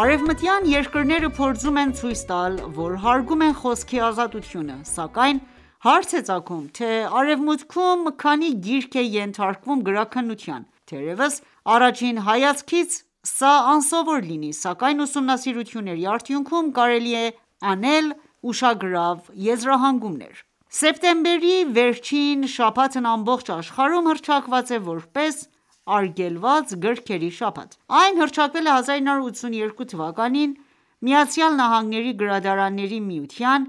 Արևմտյան երկրները փորձում են ցույց տալ, որ հարգում են խոսքի ազատությունը: Սակայն հարց է ծագում, թե Արևմուտքում քանի՞ գիրք է ենթարկվում գրաքննության: Թերևս առաջին հայացքից սա անսովոր լինի, սակայն ուսումնասիրությունների ադյունքում կարելի է անել ուշագրավ եզրահանգումներ: Սեպտեմբերի վերջին շաբաթն ամբողջ աշխարհում հռչակված է որպես Արգելված գրքերի շաբաթ: Այն հռչակվել է 1982թ. ԱՄՆ-ի գրադարանների միության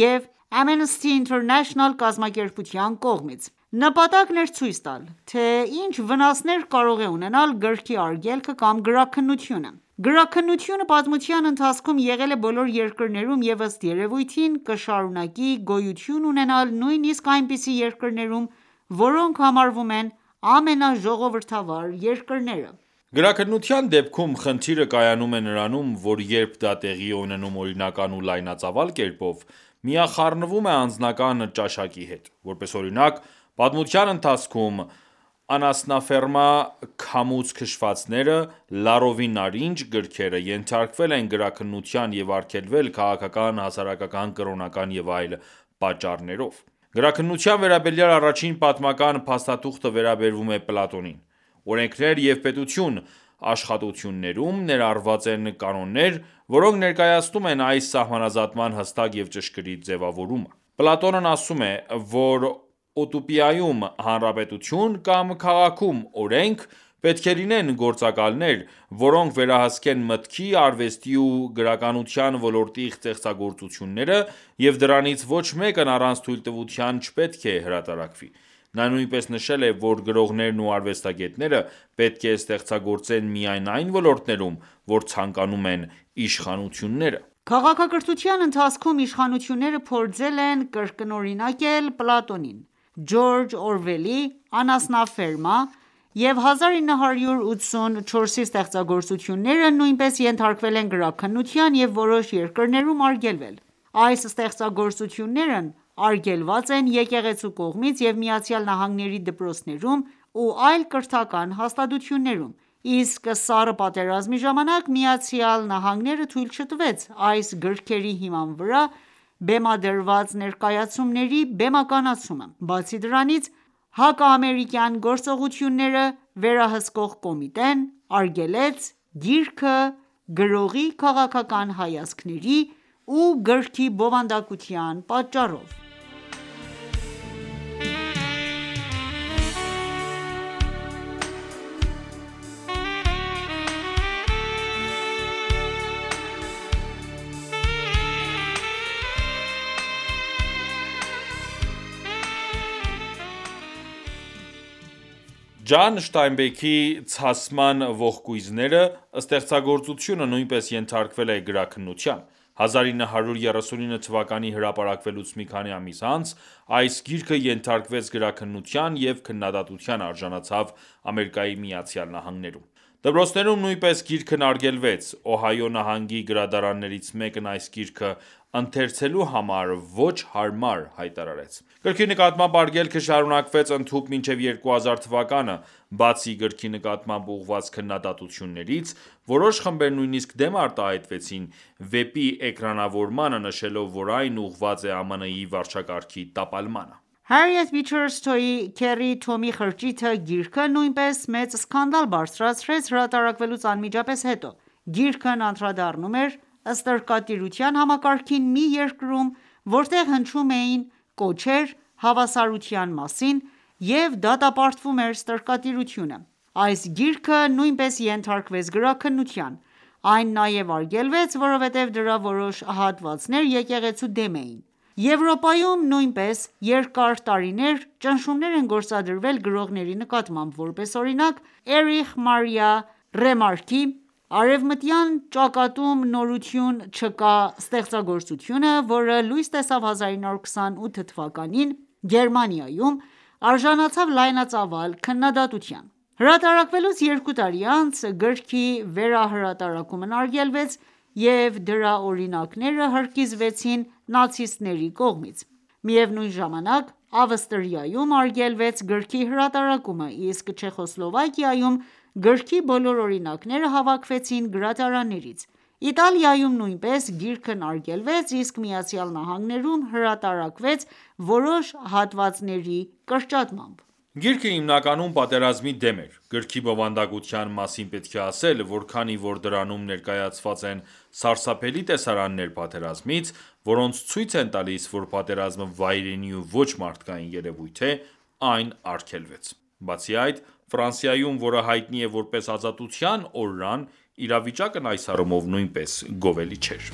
և Amnesty International կազմակերպության կողմից: Նպատակն էր ցույց տալ, թե ինչ վնասներ կարող է ունենալ գրքի արգելքը կամ գրաքննությունը: Գրաքննությունը պատմության ընթացքում եղել է բոլոր երկրներում և ըստ երևույթին, կշարունակի գոյություն ունենալ նույնիսկ այնպիսի երկրներում, որոնք համարվում են ամենաժողովրդավար երկրները: Գրաքննության դեպքում խնդիրը կայանում է նրանում, որ երբ դա տեղի է ունենում օրինական ու լայնածավալ կերպով, միախառնվում է անձնական ճաշակի հետ: Որպես օրինակ, պատմության ընթացքում «Անասնաֆերմա», «Քամուց քշվածները», «Լարովի նարինջ» գրքերը ենթարկվել են գրաքննության և արգելվել՝ քաղաքական, հասարակական, կրոնական և այլ պատճառներով: Գրաքննության վերաբերյալ առաջին պատմական փաստաթուղթը վերաբերում է Պլատոնին: «Օրենքներ և Պետություն» աշխատություններում ներառված են կանոններ, որոնք ներկայացնում են այս սահմանազատման հստակ և ճշգրիտ ձևակերպումը: Պլատոնն ասում է, որ ուտոպիայում (հանրապետություն) կամ քաղաքում (օրենք) պետք է լինեն գործակալներ, որոնք վերահսկեն մտքի, արվեստի ու գրականության ոլորտի ստեղծագործությունները և դրանցից ոչ մեկն առանց թույլտվության չպետք է հրատարակվի: Նա նույնիսկ նշել է, որ գրողներն ու արվեստագետները պետք է ստեղծագործեն միայն այն ոլորտներում, որ ցանկանում են իշխանությունները: Քաղաքակրթության ընթացքում իշխանությունները փորձել են կրկնօրինակել Պլատոնին: Ջորջ Օրվելի «Անասնաֆերմա» և «1984» ստեղծագործությունները նույնպես ենթարկվել են գրաքննության և որոշ երկրներում արգելվել: Այս ստեղծագործություններն արգելված են եկեղեցու կողմից և ԱՄՆ-ի դպրոցներում ու այլ կրթական հաստատություններում: Իսկ Սառը պատերազմի ժամանակ ԱՄՆ-ն թույլ չտվեց այս գրքերի հիման վրա բեմադրված ներկայացուցմների բեմականացումը: Բացի դրանից, հակաամերիկյան գործողությունները վերահսկող կոմիտեն արգելեց գիրքը՝ «գրողի քաղաքական հայացքների ու գրքի բովանդակության» պատճառով: Ջոն Ստայնբեքի «Ցասման ողկույզները» ստեղծագործությունը նույնպես ենթարկվել է գրաքննության: 1939 թ հրապարակվելուց մի քանի ամիս անց, այս գիրքը ենթարկվեց գրաքննության և քննադատության արժանացավ ԱՄՆ-ում: Դպրոցներում նույնպես գիրքն արգելվեց: Օհայո նահանգի գրադարաններից մեկն այս գիրքը «ընթերցելու համար ոչ հարմար» հայտարարեց: Գրքի նկատմամբ արգելքը շարունակվեց ընդհուպ մինչև 2000 թվականը: Բացի գրքի նկատմամբ ուղղված քննադատություններից, որոշ խմբեր նույնիսկ դեմ արտահայտվեցին վեպի էկրանավորմանը, նշելով, որ այն ուղղված է ԱՄՆ-ի վարչակարգի տապալմանը: Հարիեթ Բիչըր Սթոուի «Քեռի Թոմի խրճիթը» գիրքը նույնպես մեծ սկանդալ բարձրացրեց հրատարակվելուց անմիջապես հետո: Գիրքն անդրադառնում էր ստրկատիրության համակարգին մի երկրում, որտեղ հնչում էին կոչեր հավասարության մասին և դատապարտվում էր ստրկատիրությունը: Այս գիրքը նույնպես ենթարկվեց գրաքննության: Այն նաև արգելվեց, որովհետև դրա որոշ հատվածներ եկեղեցու դեմ էին:Եվրոպայում նույնպես երկար տարիներ ճնշումներ են գորածդրվել գրողների նկատմամբ: Որպես օրինակ, Էրիխ Մարիա Ռեմարկի «Արևմտյան ճակատում նորություն չկա» ստեղծագործությունը, որը լույս տեսավ 1928թ․ Գերմանիայում, արժանացավ լայնածավալ քննադատության: Հրատարակվելուց երկու տարի անց, գրքի վերահրատարակումն արգելվեց և դրա օրինակները հրկիզվեցին նացիստների կողմից: Միևնույն ժամանակ, Ավստրիայում արգելվեց գրքի հատարակումը, իսկ Չեխոսլովակիայում գրքի բոլոր օրինակները հավաքվեցին գրադարաններից: Իտալիայում նույնպես գիրքն արգելվեց, իսկ ԱՄՆ-ում հրատարալկվեց որոշ հատվածների կրճատմամբ: Գիրքը հիմնականում պատերազմի դեմ էր: Գրքի բովանդակության մասին պետք է ասել, որ քանի որ դրանում ներկայացված են սարսափելի տեսարաններ պատերազմից, որոնք ցույց են տալիս, որ պատերազմը վայրենի ու ոչ մարդկային երևույթ է, այն արգելվեց: Բացի այդ, Ֆրանսիայում, որը հայտնի է որպես ազատության օրրան, իրավիճակն այս առումով նույնպես գովելի չէր: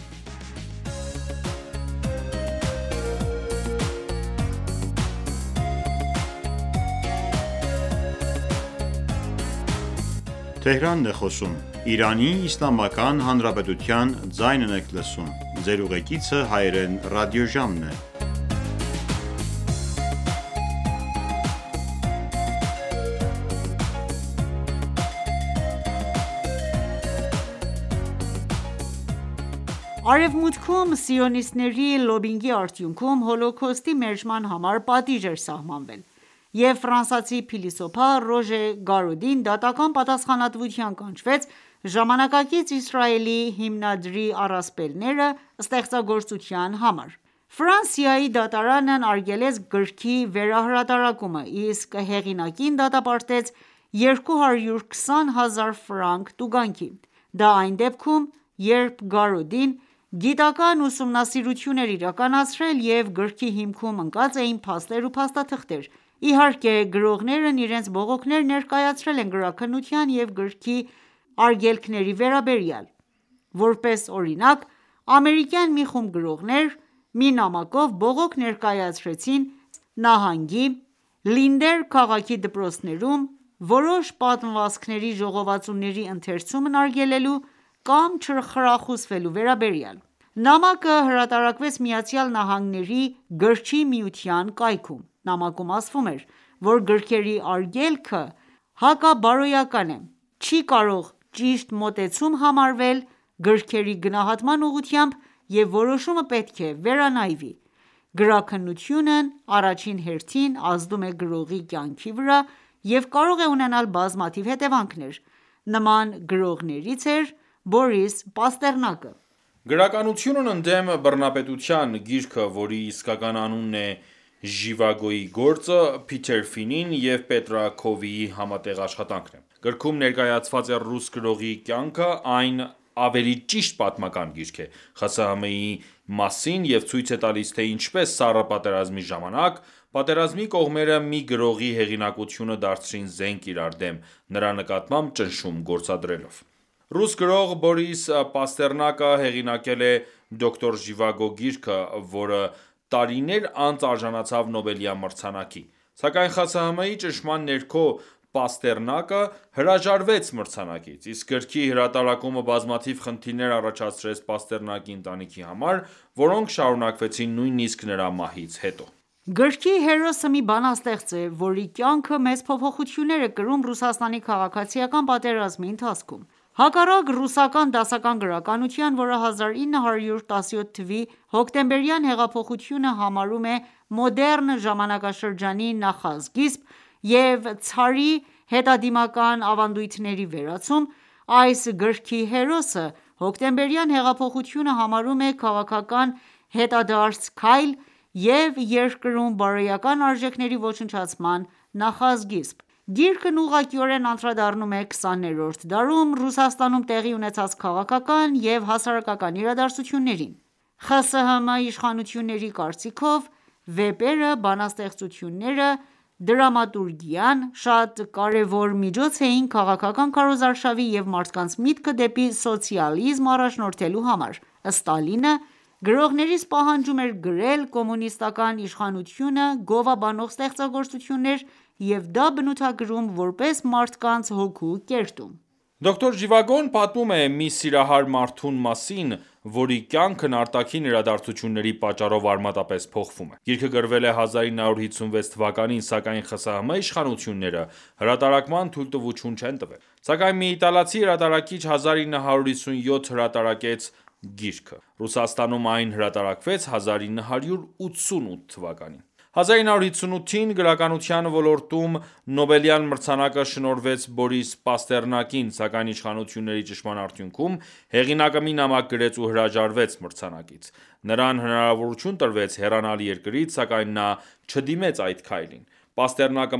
Արևմուտքում սիոնիստների լոբբինգի արդյունքում, Հոլոքոստի մերժման համար պատժիժ է սահմանվել: Եվ ֆրանսիացի փիլիսոփա Ռոժե Գարոդին դատական պատասխանատվության կանչվեց «Ժամանակակից Իսրայելի հիմնադրի առասպելները» ստեղծագործության համար: Ֆրանսիայի դատարանն արգելեց գրքի վերահրատարակումը, իսկ հեղինակին դատապարտեց 220 հազար ֆրանկ տուգանքի: Դա այն դեպքում, երբ Գարոդին գիտական ուսումանսիրություն էր իրականացրել և գրքի հիմքում ընկած էին փաստեր ու փաստաթղթեր: Իհարկե գրողներն իրենց բողոքները ներկայացրել են գրաքննության ու գրքերի արգելքների վերաբերյալ: Որպես օրինակ, ամերիկյան մի խումբ գրողներ, մի նամակով բողոք ներկայացրեցին Տեխաս նահանգի Լինդեր քաղաքի դպրոցներում որոշ պատմվածքների ժողովածուների ընթերցումն արգելելու կամ չխրախուսվելու վերաբերյալ: Նամակը հրատարակվեց ՄԱՆ-ի Գրիչ միության կայքում: Նամակում ասվում է, որ գրքերի արգելքը հակաբարոյական է, չի կարող ճիշտ մոտեցում համարվել գրքերի գնահատման ուղղությամբ և որոշումը պետք է վերանայվի: Գրաքննությունն առաջին հերթին ազդում է գրողի կյանքի վրա և կարող է ունենալ բազմաթիվ հետևանքներ: Նման գրողներից է Բորիս Պաստեռնակը: «Գրականությունն ընդդեմ բռնապետության» գիրքը, որի իսկական անունն է «Ժիվագոյի գործը», Փիթեր Ֆինի և Պետրա Քովիի համատեղ աշխատանքն է: Գրքում ներկայացված է ռուս գրողի կյանքը: Այն ավելի ճիշտ պատմական գիրք է՝ ԽՍՀՄ-ի մասին և ցույց է տալիս, թե ինչպես Սառը պատերազմի ժամանակ, պատերազմի կողմերը մի գրողի հեղինակությունը դարձրին զենք իրար դեմ՝ նրա նկատմամբ ճնշում գործադրելով: Ռուս գրող Բորիս Պաստեռնակը հեղինակել է «Դոկտոր Ժիվագո» գիրքը, որը տարիներ անց արժանացավ Նոբելյան մրցանակի: Սակայն ԽՍՀՄ-ի ճնշման ներքո, Պաստեռնակը հրաժարվեց մրցանակից, իսկ գրքի հրատարակումը բազմաթիվ խնդիրներ առաջացրեց Պաստեռնակի ընտանիքի համար, որոնք շարունակվեցին նույնիսկ նրա մահից հետո: Գրքի հերոսը մի բանաստեղծ է, որի կյանքը մեծ փոփոխություններ է կրում Ռուսաստանի քաղաքացիական պատերազմի ընթացքում: Հակառակ ռուսական դասական գրականության, որը 1917թ․ հոկտեմբերյան հեղափոխությունը համարում է մոդեռն ժամանակաշրջանի նախասկիզբ և ցարի հետադիմական ավանդույթների վերացում, այս գրքի հերոսը Հոկտեմբերյան հեղափոխությունը համարում է քաղաքական հետադարձ քայլ և երկրում բարոյական արժեքների ոչնչացման նախասկիզբ: Գիրքն ուղղակիորեն անդրադառնում է 20-րդ դարում Ռուսաստանում տեղի ունեցած քաղաքական և հասարակական իրադարձություններին: ԽՍՀՄ իշխանությունների կարծիքով, վեպերը, բանաստեղծությունները, դրամատուրգիան, շատ կարևոր միջոց էին քաղաքական քարոզարշավի և մարդկանց միտքը դեպի սոցիալիզմ առաջնորդելու համար: Ստալինը գրողներից պահանջում էր գրել կոմունիստական իշխանությունը գովաբանող ստեղծագործություններ և դա բնութագրում որպես «մարդկանց հոգու կերտում»: «Դոկտոր Ժիվագոն» պատմում է մի սիրահար մարդու մասին, որի կյանքն արտաքին իրադարձությունների պատճառով արմատապես փոխվում է: Գիրքը գրվել է 1956 թ., սակայն ԽՍՀՄ իշխանությունները հրատարակման թույլտվություն չեն տվել: Սակայն մի իտալացի հրատարակիչ 1957 հրատարակեց գիրքը: Ռուսաստանում այն հրատարակվեց 1988թ: 1958թ. գրականության ոլորտում Նոբելյան մրցանակը շնորհվեց Բորիս Պաստեռնակին: Սակայն իշխանությունների ճնշման արդյունքում, հեղինակը մի նամակ գրեց ու հրաժարվեց մրցանակից: Նրան հնարավորություն տրվեց հեռանալ երկրից, սակայն նա չդիմեց այդ քայլին: Պաստեռնակը